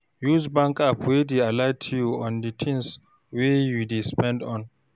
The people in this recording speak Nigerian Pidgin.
Use bank app wey dey alert you on di things wey you dey spend on